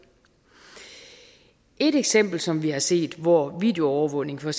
et eksempel som vi har set hvor videoovervågning for